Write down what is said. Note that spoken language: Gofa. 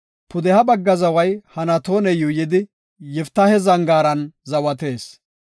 Pudeha bagga zaway Hanatoone yuuyidi, Yiftaahe zangaaran zawatees.